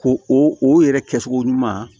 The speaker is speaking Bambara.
Ko o yɛrɛ kɛcogo ɲuman